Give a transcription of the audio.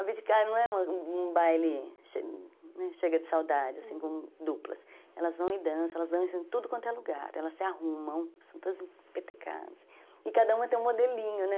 abdicar não é um baile chega de saudade, assim, com duplas elas vão e dançam, elas dançam em tudo quanto é lugar, elas se arrumam, são todas empetecadas e cada uma tem um modelinho, né?